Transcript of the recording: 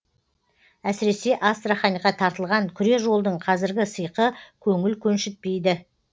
әсіресе астраханьға тартылған күре жолдың қазіргі сиқы көңіл көншітпейді